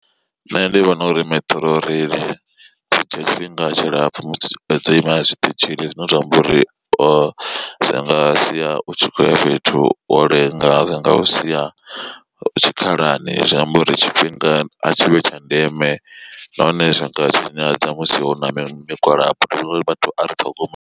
Nṋe ndi vhona uri Metrorail zwi dzhia tshifhinga tshilapfu musi dzo ima zwiṱitshini zwine zwa amba uri zwi nga sia u tshi khoya fhethu wo lenga zwi nga u sia tshikhalani zwi amba uri tshifhinga a tshi vhi tsha ndeme nahone zwi nga tshinyadza musi hu na migwalabo ndi vhona zwori vhathu a ri ṱhogomele.